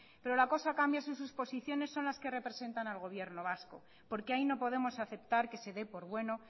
pero la cosa cambia si sus posiciones son las que representan al gobierno vasco porque ahí no podemos aceptar que se dé por bueno